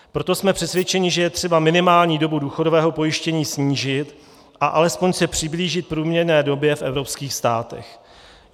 Proto jsme přesvědčeni, že je třeba minimální dobu důchodového pojištění snížit a alespoň se přiblížit průměrné době v evropských státech.